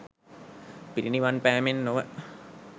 පිරිනිවන් පෑමෙන් නොව